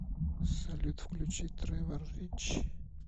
салют включи тревор рич